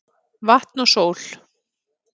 Vatn og sól